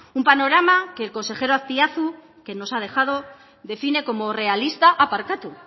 un panorama que el consejero aspiazu que nos ha dejado define como realista ah barkatu